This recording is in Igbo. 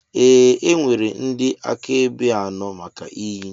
Ee e nwere ndị akaebe anọ maka iyi.